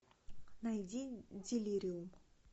найди делириум